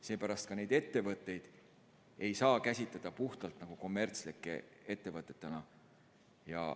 Seepärast ei saa ka neid ettevõtteid käsitleda puhtalt nagu kommertslike ettevõtetena.